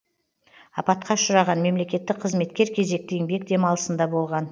апатқа ұшыраған мемлекеттік қызметкер кезекті еңбек демалысында болған